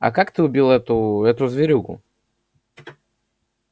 а как ты убил эту эту зверюгу